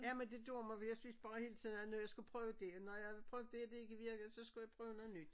Jamen det gjorde man for jeg synes bare hele tiden at når jeg skulle prøve det når jeg prøvede det og det ikke virkede så skulle jeg prøve noget nyt